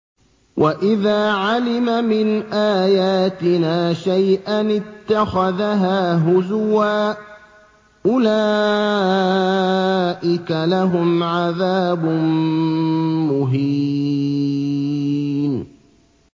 وَإِذَا عَلِمَ مِنْ آيَاتِنَا شَيْئًا اتَّخَذَهَا هُزُوًا ۚ أُولَٰئِكَ لَهُمْ عَذَابٌ مُّهِينٌ